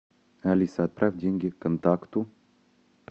алиса отправь деньги контакту